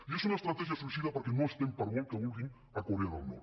i és una estratègia suïcida perquè no estem per molt que ho vulguin a corea del nord